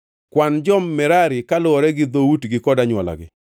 “Kwan jo-Merari kaluwore gi dhoutgi kod anywolagi.